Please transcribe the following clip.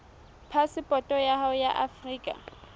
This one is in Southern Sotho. phasepoto ya hao ya afrika